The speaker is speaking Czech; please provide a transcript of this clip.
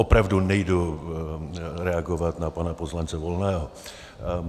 Opravdu nejdu reagovat na pana poslance Volného.